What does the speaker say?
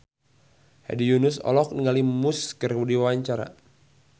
Hedi Yunus olohok ningali Muse keur diwawancara